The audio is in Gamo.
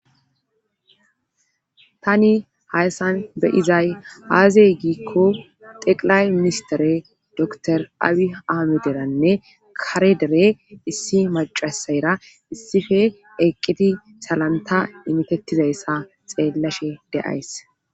Tani hayssan beyizay aazey giikko teqilay mimistere dor awi aamederanne karedere issi macasayra issife eqqiti salanta imitettizayssa xeellashe de'ays.